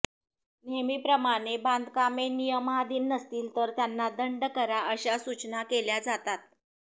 नेहमीप्रमाणे बांधकामे नियमाधीन नसतील तर त्यांना दंड करा अशा सूचना केल्या जातात